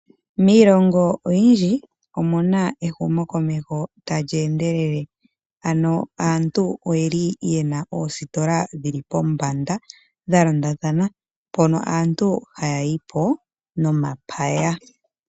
Miilongo oyindji omuna ehumo komeho talyi endelele. Ano aantu oyeli yena oositola dhili pombanda dha londathana mpono aantu haya yipo nomapaya.